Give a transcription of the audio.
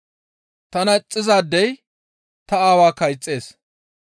Tana ixxizaadey ta Aawaakka ixxees.